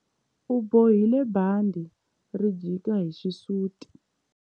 U bohile bandhi ri jika hi xisuti.